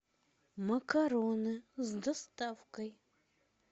макароны с доставкой